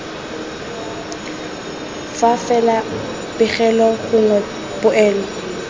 fa fela pegelo gongwe poelo